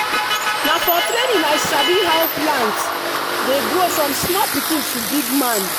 na for training i sabi how plant dey grow from small pikin to big man.